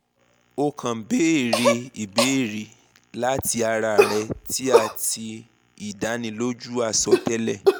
o kan beere ibeere lati ara rẹ ti a ti idaniloju asọtẹlẹ